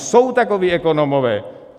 Jsou takoví ekonomové.